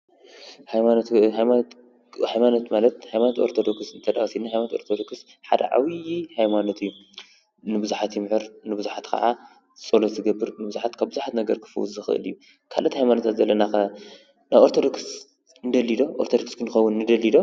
ሃይማኖት ማለት ሃይማኖት ኦርቶዶክስ ተወሲድና ሓደ ዓብይ ንቡዝሓት ይምህርን ፆሎት ይገብር ካብ ቡዙሕ ነገራት ክፍውስ ይክእል። ካልእ ሃይማኖት ዘለና ኦርቶዶክስ ክንከውን ንደሊ ዶ?